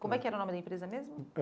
Como é que era o nome da empresa mesmo?